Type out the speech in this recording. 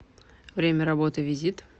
время работы визит